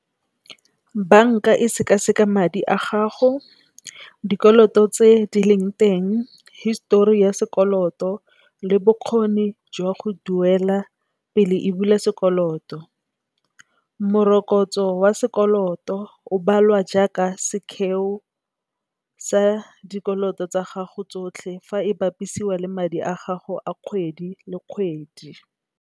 Banka e sekaseka madi a gago, dikoloto tse di leng teng, histori ya sekoloto le bokgoni jwa go duela, pele e bula sekoloto. Morokotso wa sekoloto o balwa jaaka sekheo sa dikoloto tsa gago tsotlhe fa e bapisiwa le madi a gago a kgwedi le kgwedi.